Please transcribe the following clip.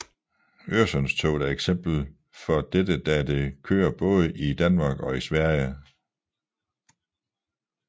Øresundstoget er et eksempel for dette da det kører både i Danmark og Sverige